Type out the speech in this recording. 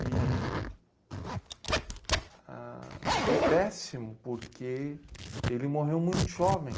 E, ãh... Foi péssimo, porque ele morreu muito jovem.